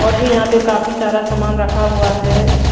और भी यहां पर काफी सारा सामान रखा हुआ है।